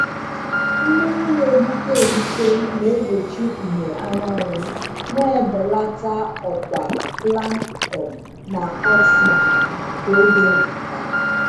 Mmiri na-egbuke egbuke na-egbochi ìhè anyanwụ, na-ebelata ọkwa plankton na oxygen ka oge na-aga.